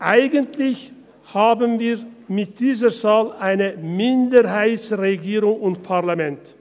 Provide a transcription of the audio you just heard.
Eigentlich haben wir mit dieser Zahl eine Minderheitsregierung und Parlament.